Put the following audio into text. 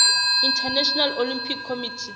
international olympic committee